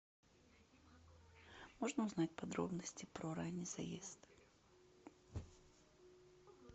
можно узнать подробности про ранний заезд